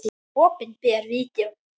Opinber Vídeó